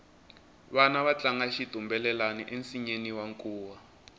vana va tlanga xitumbelelani ensinyeni wa nkuwa